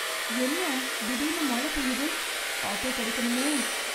என்ன திடீர்னு மழ பெய்யுது! ஆட்டோ கிடைக்கணுமே!